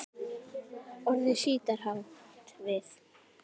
Orðið sítar átt við